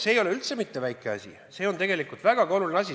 See ei ole üldse mitte väike asi, see on tegelikult väga oluline asi.